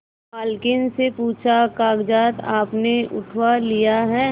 मालकिन से पूछाकागजात आपने उठवा लिए हैं